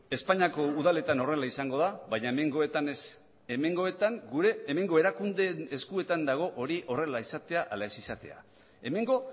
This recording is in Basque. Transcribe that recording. espainiako udaletan horrela izango da baina hemengoetan ez hemengoetan gure hemengo erakundeen eskuetan dago hori horrela izatea ala ez izatea hemengo